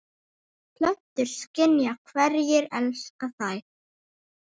Plöntur skynja hverjir elska þær